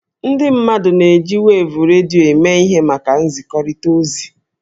Ụmụ mmadụ na-eji wevu redio eme ihe maka nzikọrịta ozi.